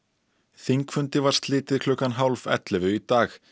þingfundi var slitið klukkan hálf ellefu í dag